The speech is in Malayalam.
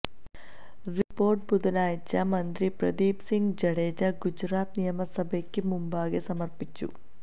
റിപ്പോര്ട്ട് ബുധനാഴ്ച മന്ത്രി പ്രദീപ് സിംഗ് ജഡേജ ഗുജറാത്ത് നിയമസഭയ്ക്ക് മുമ്പാകെ സമര്പ്പിച്ചു